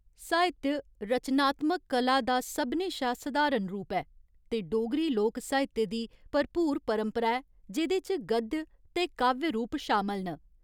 साहित्य रचनात्मक कला दा सभनें शा सधारण रूप ऐ ते डोगरी लोक साहित्य दी भरपूर परंपरा ऐ जेह्‌दे च गद्य ते काव्य रूप शामल न।